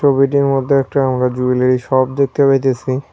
ছবিটির মধ্যে একটা আমরা জুয়েলারি শপ দেখতে পাইতেসি।